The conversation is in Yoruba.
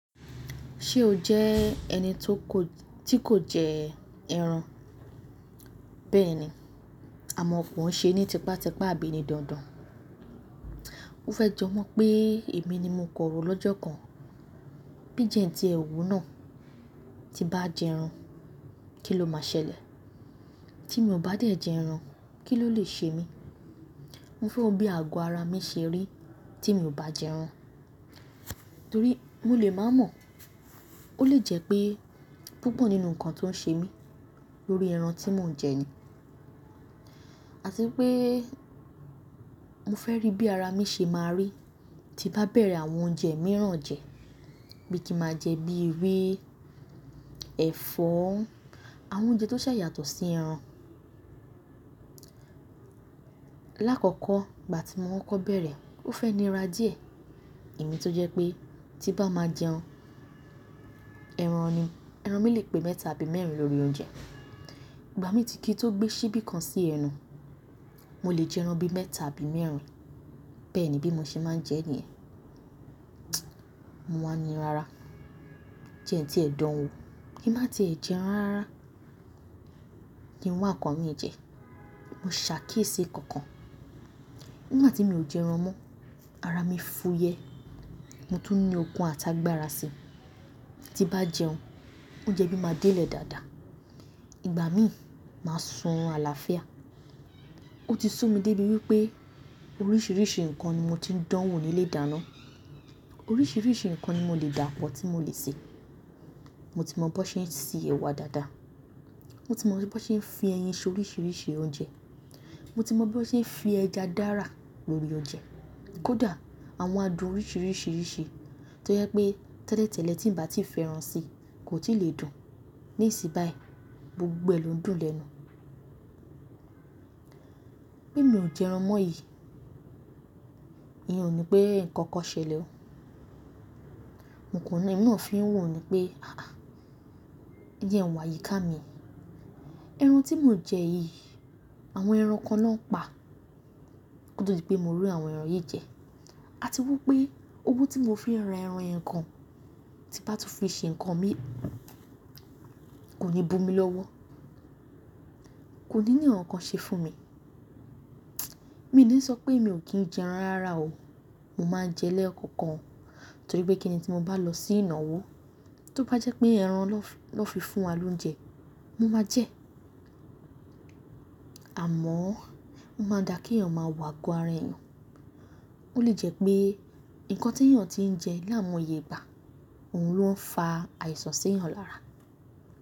Ṣé o jẹ́ ẹni tó kò, tí kò jẹ ẹran? Bẹ́ẹ̀ ni, àmọ́ kò ṣe ni tipátipa abí ni dandan. Ó fẹ́ jọ mọ̀ pé èmi ni mo kọrò lọ́jọ́ kan. Bí i jẹ́ n tí ẹwu náà ti bá jẹ ẹran, kí ló máa ṣẹlẹ̀? Tí mo bá dé jẹ ẹran, kí ló lè ṣe mi? Mo fẹ́ wo bí àgọ́ ara mi ṣe rí tí mo bá jẹ ẹran. Torí mo lè má mọ̀. Ó lè jẹ́ pé púpọ̀ nínú ǹkan tó ń ṣe mí lórí ẹran tí mò ń jẹ ni. Àti pé mo fẹ́ rí bí ara mi ṣe máa rí tí bá bẹ̀rẹ̀ àwọn oúnjẹ mìíràn jẹ. Bí kí máa jẹ bí ewé, ẹ̀fọ́, àwọn oúnjẹ tó ṣa yàtọ̀ sí ẹran. Láàkọ́kọ́ ìgbà tí mo kokọ́ bẹ̀rẹ̀, ó fẹ́ nira dí e Èmi tó jẹ́ pé tí bá máa jẹun, ẹran ni. Ẹran mi lè pé mẹ́ta àbí mẹ́rin lórí oúnjẹ. Ìgbà mi tí kì í tó gbé síbí kan sí ẹnu. Mo lè jẹ ẹran bí mẹ́ta àbí mẹ́rin. Bẹ́ẹ̀ ni bí mo ṣe máa ń jẹ níyẹn. Mo wa ń rin rara. Jẹ́ n ti ẹ́ dán wo. Ki ma tí è jẹun rarara, ki n wa ǹkan mi jẹ. Mo ṣàkíyèsí kankan. Nígbà tí mi ò jẹ ẹran mọ́, ara mi fúyẹ́. Mo tún ní okun àti agbára sí Tí bá jẹun, oúnjẹ mi máa délẹ̀ dáadáa. Ìgbà mi máa sún orun àlàáfíà. Ó ti sú mi dé bí wípé oríṣìíríṣìí ǹkan ni mo ti ń dán wò ní ilé ìdáná. Oríṣìíríṣìí ǹkan ni mo le dà pọ̀ tí mo lè ṣe. Mo ti mọ bo ṣe ń ṣe ẹ̀wà dáadáa. Mo ti mọ bí wọ́n ṣe ń fi ẹyin ṣe oríṣìíríṣìí oúnjẹ. Mo ti mọ bí wọ́n ṣe ń fi ẹja dára lórí oúnjẹ. Kódà àwọn adùn oríṣìíríṣìírisii tó jẹ́ pé tẹ́lẹ̀tẹ́lẹ̀ tí ń bá ti fẹ́ ẹran sí, kò tí lè dùn. Nísìn bayi, gbogbo ẹ̀ ló ń dùn lẹ́nu. Bí mi ò jẹ ẹran mọ́ yìí, ìyẹn ò ní pé ǹkan kan ṣẹlẹ̀ o. N kò ná, ìná ò fi ń wù mí pé aà, jeun wa yíká mi. Ẹran tí mò ń jẹ yìí, àwọn ẹran kan ló ń pa. Kó to di pé mo rí àwọn ẹran yìí jẹ. Àti wípé owó tí mo fi ra ẹran yen gan, tí bá tú fi ṣe ǹkan mi, kò ní bu mi lọ́wọ́. Kò ní ní ǹkankan ṣe fún mi. Mi ò ní sọ pé mi ò kí ń jẹ ẹran rara o. Mo máa ń jẹ lekọ̀kan. Torí pé kíni tí mo bá lọ sí ìnáwó, tó bá jẹ́ pé ẹran na fi fún wa lóúnjẹ, mo máa jẹ ẹ́. Àmọ́, ó máa n dà kí èèyàn máa wọ àgọ́ ara èèyàn. Ó lè jẹ́ pé ǹkan tí èèyàn ti ń jẹ láyi mo ye ìgbà, òun ló ń fa àìsàn sí èèyàn lára.